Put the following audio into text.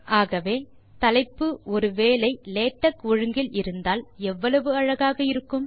ஆகவே தலைப்பு ஒரு வேளை லேடக் ஒழுங்கில் இருந்தால் எவ்வளவு அழகாக இருக்கும்